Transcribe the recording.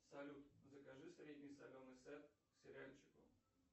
салют закажи средний соленый сет к сериальчику